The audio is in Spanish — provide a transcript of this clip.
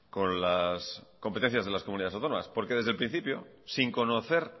con las competencias de las comunidades autónomas desde el principio sin conocer